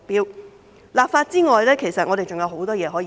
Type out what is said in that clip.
除立法之外，其實我們還有很多工作可以做。